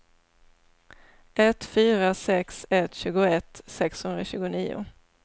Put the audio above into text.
ett fyra sex ett tjugoett sexhundratjugonio